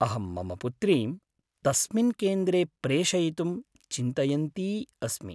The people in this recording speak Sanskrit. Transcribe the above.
अहं मम पुत्रीं तस्मिन् केन्द्रे प्रेषयितुम् चिन्तयन्ती अस्मि।